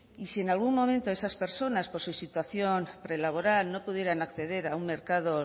y si en algún momento esas personas por su situación prelaboral no pudieran acceder a un mercado